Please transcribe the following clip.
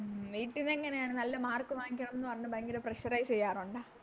മ് വീട്ടിലെങ്ങനെയാണ് നല്ല Mark വാങ്ങിക്കണംന്ന് പറഞ്ഞ് ഭയങ്കര Pressurize ചെയ്യാറൊണ്ട